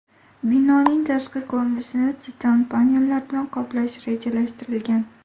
Binoning tashqi ko‘rinishini titan panellar bilan qoplash rejalashtirilgan.